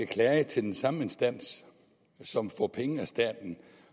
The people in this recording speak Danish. klage til den samme instans som får penge af staten